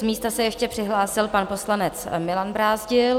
Z místa se ještě přihlásil pan poslanec Milan Brázdil.